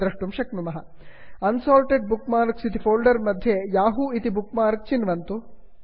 unsorted bookmarks unsorted bookmarks इति folder मध्ये Yahoo इति बुक् मार्क् चिन्वन्तु